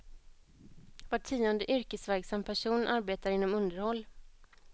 Var tionde yrkesverksam person arbetar inom underhåll.